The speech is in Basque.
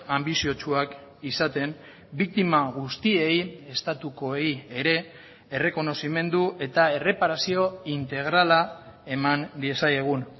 anbiziotsuak izaten biktima guztiei estatukoei ere errekonozimendu eta erreparazio integrala eman diezaiegun